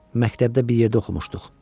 Məktəbdə bir yerdə oxumuşduq.